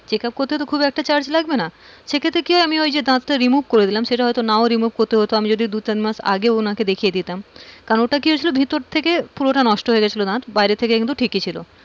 checkup করতে তো খুব একটা charge লাগবে না সে ক্ষেত্রে কিভাবে হয়েছে remove করে দিলাম সেটা হয়তো নাও remove করতে হতো । আমি যদি দু-তিন মাস আগে উনাকে দেখিয়ে দিতাম কারণ ওটা কি হয়েছিল ভিতর থেকেপুরোটা নষ্ট হয়ে গিয়েছিল দাঁত, বাইরে থেকে কিন্তু ঠিকই ছিল।